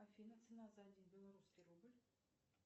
афина цена за один белорусский рубль